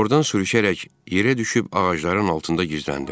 Ordan sürüşərək yerə düşüb ağacların altında gizləndim.